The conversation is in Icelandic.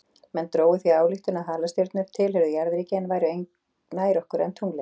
Menn drógu því þá ályktun að halastjörnur tilheyrðu jarðríki og væru nær okkur en tunglið.